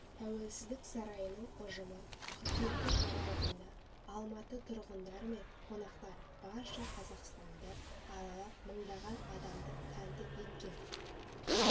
тәуелсіздік сарайының ұжымы қыркүйектің аралығында алматы тұрғындары мен қонақтарын барша қазақстанды аралап мыңдаған адамды тәнті еткен